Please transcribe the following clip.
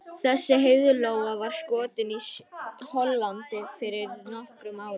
Þessi heiðlóa var skotin í Hollandi fyrir nokkrum árum.